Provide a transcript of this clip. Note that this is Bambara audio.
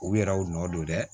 U yɛrɛw nɔ don dɛ